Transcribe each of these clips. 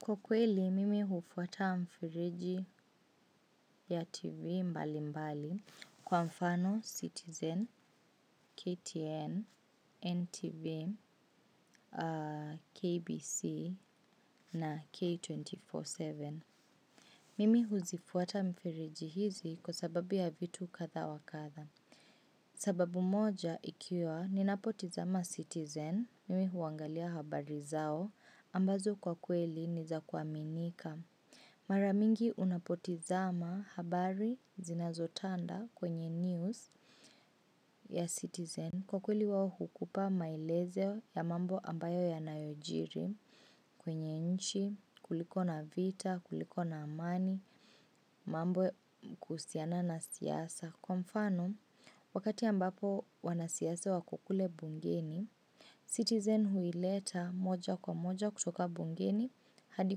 Kwa kweli, mimi hufuata mifereji ya TV mbalimbali kwa mfano Citizen, KTN, NTV, KBC na K247. Mimi huzifuata mfereji hizi kwa sababu ya vitu kadha wa kadha. Sababu moja ikiwa, ninapotizama Citizen, mimi huangalia habari zao, ambazo kwa kweli ni za kuaminika. Mara mingi unapotizama habari zinazotanda kwenye news ya citizen kwa kweli wao hukupa maelezeo ya mambo ambayo yanayojiri kwenye nchi kuliko na vita, kuliko na amani, mambo kuhusiana na siasa. Kwa mfano, wakati ambapo wanasiasa wako kule mbungeni, citizen huileta moja kwa moja kutoka mbungeni hadi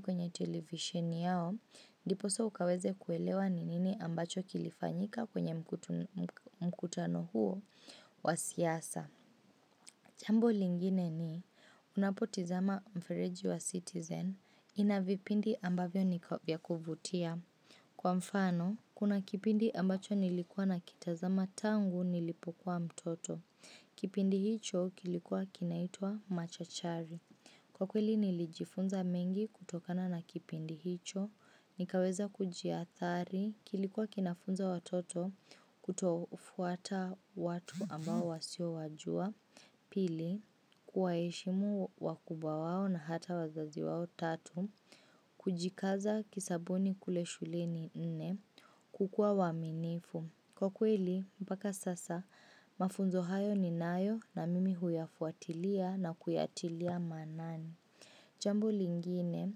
kwenye television yao, ndiposa ukaweze kuelewa ni nini ambacho kilifanyika kwenye mkutano huo wa siasa. Jambo lingine ni unapotizama mfereji wa citizen ina vipindi ambavyo ni ya kuvutia. Kwa mfano, kuna kipindi ambacho nilikua nakitazama tangu nilipokuwa mtoto. Kipindi hicho kilikuwa kinaitwa Machachari. Kwa kweli nilijifunza mengi kutokana na kipindi hicho, nikaweza kujiathari, kilikuwa kinafunza watoto kutofuata watu ambao wasiowajua. Pili, kuwaheshimu wakubwa wao na hata wazazi wao tatu, kujikaza kisabuni kule shuleni. Nne, kukua waaminifu. Kwa kweli, mpaka sasa, mafunzo hayo ninayo na mimi huyafuatilia na kuyatilia maanani. Jambo lingine,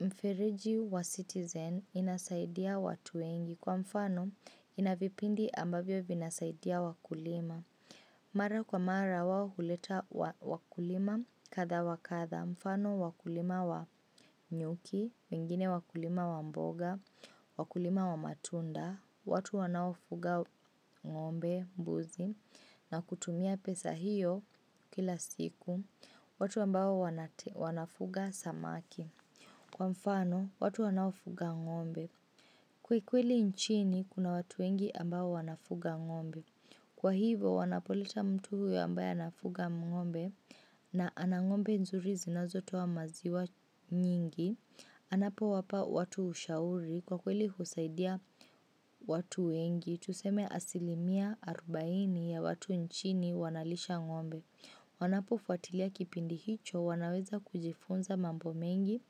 mfereji wa citizen inasaidia watu wengi kwa mfano ina vipindi ambavyo vinasaidia wakulima. Mara kwa mara wao huleta wakulima kadha wa kadha, mfano wakulima wa nyuki, wengine wakulima wa mboga, wakulima wa matunda, watu wanaofuga ng'ombe, mbuzi, na kutumia pesa hiyo kila siku, watu ambao wanafuga samaki. Kwa mfano, watu wanaofuga ng'ombe. Kwa kweli nchini, kuna watu wengi ambao wanafuga ng'ombe. Kwa hivo, wanapoleta mtu huyo ambaye anafuga ng'ombe na ana ng'ombe nzuri zinazotoa maziwa nyingi, anapowapa watu ushauri. Kwa kweli husaidia watu wengi, tuseme asilimia arubaini ya watu nchini wanalisha ng'ombe. Wanapofuatilia kipindi hicho wanaweza kujifunza mambo mengi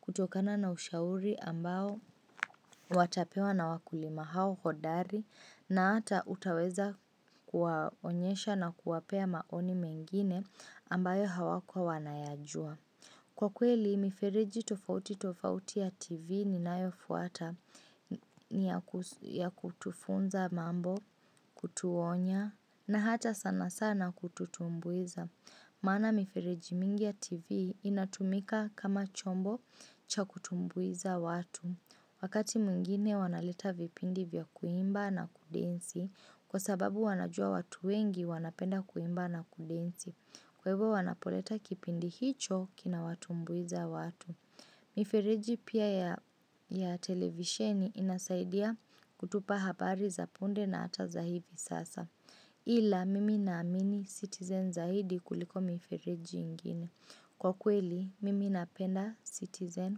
kutokana na ushauri ambao watapewa na wakulima hao hodari na hata utaweza kuwaonyesha na kuwapea maoni mengine ambayo hawakuwa wanayajua. Kwa kweli, mifereji tofauti tofauti ya TV ninayofuata ni ya kutufunza mambo, kutuonya na hata sana sana kututumbuiza. Maana mifereji mingi ya TV inatumika kama chombo cha kutumbuiza watu. Wakati mwingine wanaleta vipindi vya kuimba na kudensi kwa sababu wanajua watu wengi wanapenda kuimba na kudensi. Kwa hivyo wanapoleta kipindi hicho kinawatumbuiza watu. Mifereji pia ya televisheni inasaidia kutupa habari za punde na hata za hivi sasa. Ila mimi naamini Citizen zaidi kuliko mifereji ingine. Kwa kweli mimi napenda Citizen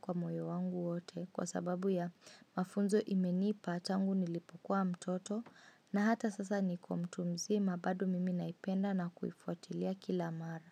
kwa moyo wangu wote kwa sababu ya mafunzo imenipa tangu nilipokuwa mtoto, na hata sasa niko mtu mzima bado mimi naipenda na kuifuqtilia kila mara.